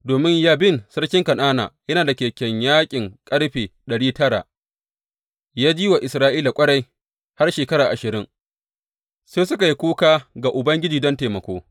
Domin Yabin sarkin Kan’ana yana da kekunan yaƙin ƙarfe ɗari tara, ya ji wa Isra’ilawa ƙwarai har shekara ashirin, sai suka yi kuka ga Ubangiji, don taimako.